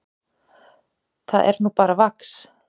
Það er nú bara vax.